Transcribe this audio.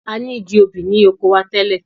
A ni igi obì ni oko wa tẹ́lẹ̀.